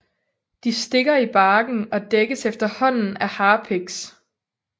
De stikker i barken og dækkes efterhånden af harpiks